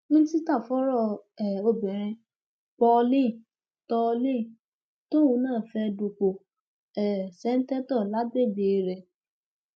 mínísítà fọrọ um obìnrin paulline tallen tóun náà fẹẹ dupò um ṣẹ́ńtétọ̀ lágbègbè rẹ